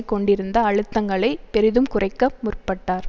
கொண்டிருந்த அழுத்தங்களை பெரிதும் குறைக்க முற்பட்டார்